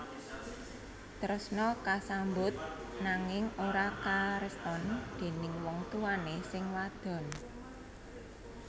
Tresna kasambut nanging ora kareston déning wong tuwané sing wadon